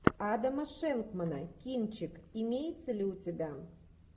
адама шенкмана кинчик имеется ли у тебя